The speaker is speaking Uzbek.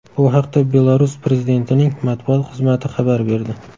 Bu haqda Belarus prezidentining matbuot xizmati xabar berdi .